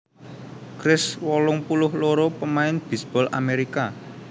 Kris wolung puluh loro pamain bisbol Amerika